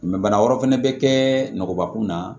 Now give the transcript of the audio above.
bana wɛrɛ fɛnɛ bɛ kɛ nɔgɔkun na